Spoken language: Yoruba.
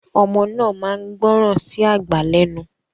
Ọmọ náà máa ń gbọ́ràn sí àgbà lẹ́nu